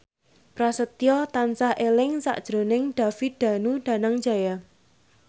Prasetyo tansah eling sakjroning David Danu Danangjaya